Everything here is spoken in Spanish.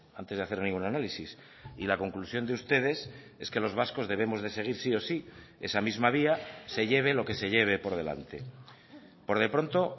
antes de hacer ningún análisis y la conclusión de ustedes es que los vascos debemos de seguir sí o sí esa misma vía se lleve lo que se lleve por delante por de pronto